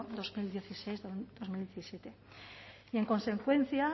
dos mil dieciséis dos mil diecisiete y en consecuencia